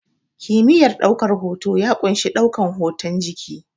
Kimiyar ɗaukan hoto ya ƙunshi ɗaukan hotun jiki